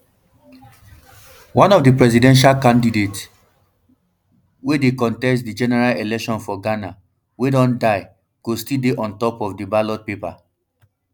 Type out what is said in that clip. one of di presidential candidates wey dey um contest di general election for ghana wey don die go still dey on top of di ballot paper